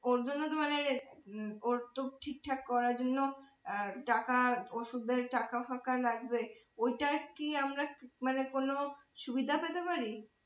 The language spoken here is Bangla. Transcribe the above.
ওর জন্য তো মানে হম ওর তো ঠিকঠাক করার জন্য আহ টাকা ওষুধের টাকাফাকা লাগবে ওইতার কি আমরা মানে কোন সুবিধা পেতে পারি?